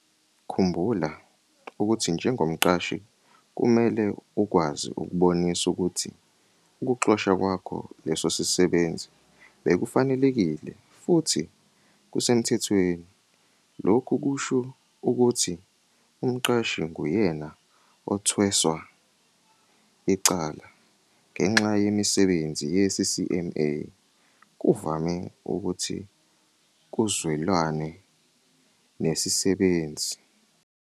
Khumbula ukuthi njengomqashi kumele ukwazi ukubonisa ukuthi ukuxosha kwakho leso sisebenzi bekufanelekile futhi kusemthethweni. Lokhu kusho ukuthi umqashi nguyena othweswe icala. Ngenxa yemisebenzi ye-CCMA kuvame ukuthi kuzwelanwe nesisebenzi.